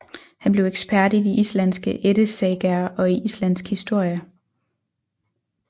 Han blev ekspert i de islandske ættesagaer og i islandsk historie